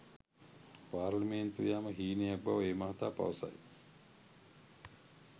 පාර්ලිමේන්තු යාම හීනයක් බව ඒ මහතා පවසයි.